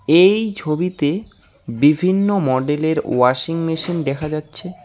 এই ছবিতে বিভিন্ন মডেলের ওয়াশিং মেশিন দেখা যাচ্ছে।